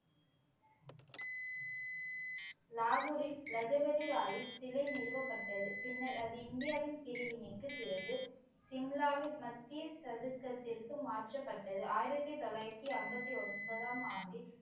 லாகூரில் லஜபதி ராயின் சிலை நிறுவப்பட்டது பின்னர் அது இந்தியாவின் பிரிவினைக்குப் பிறகு சிம்லாவின் மத்திய சதுக்கத்திற்கு மாற்றப்பட்டது ஆயிரத்தி தொள்ளாயிரத்தி ஐம்பத்தி ஒன்பதாம் ஆண்டில்